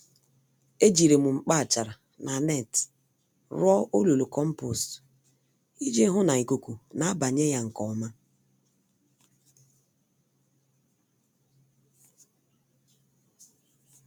Ejirim mkpa-achara na net rụọ olulu kompost, iji hụ na ikuku nabanye ya nke ọma.